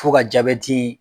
Fo ka jabɛti